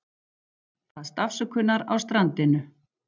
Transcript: Baðst afsökunar á strandinu